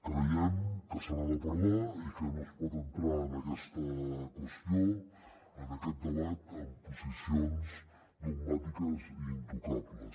creiem que se n’ha de parlar i que no es pot entrar en aquesta qüestió en aquest debat amb posicions dogmàtiques i intocables